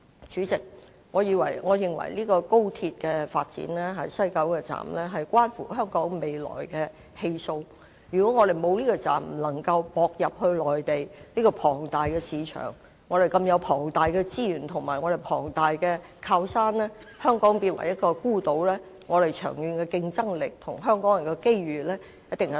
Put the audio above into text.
主席，我認為高鐵西九站關乎香港未來的氣數，如果我們沒有這個車站，便不能接駁內地這個龐大市場、這個龐大的資源和靠山，令香港變成孤島，一定會大大削弱我們長遠的競爭力和香港人的機遇。